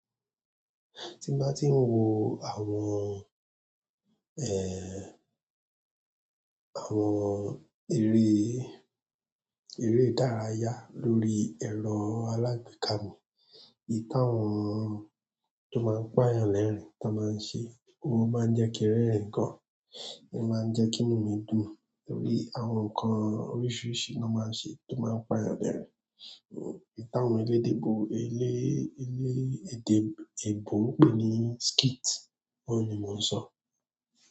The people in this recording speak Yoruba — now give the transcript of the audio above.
Tí bá ti ń wo àwọn, ee, àwọn eré, eré ìdárayá lórí ẹ̀rọ alágbèéká mi, ìyi táwọn to máa ń pàyàn lẹrin tán máa ń ṣe, o máa ń jẹki inú mi dùn torí àwọn nǹkan oríṣiríṣi ni wọ́n máa ń ṣe tó máa ń pàyàn lẹrin hmm, ìyi tàwọn elédè eyo, elé èdè èbò ń pè ní skit, òun ni mò ń sọ.